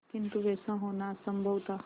किंतु वैसा होना असंभव था